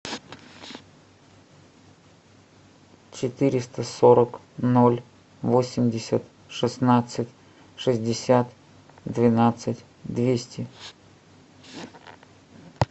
четыреста сорок ноль восемьдесят шестнадцать шестьдесят двенадцать двести